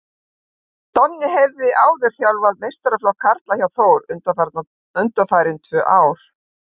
Donni hefur áður þjálfað meistaraflokk karla hjá Þór undanfarin tvö ár.